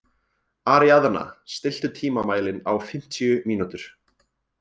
Aríaðna, stilltu tímamælinn á fimmtíu mínútur.